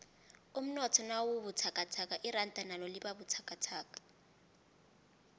umnotho nawubuthakathaka iranda nalo libabuthakathaka